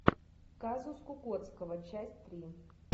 казус кукоцкого часть три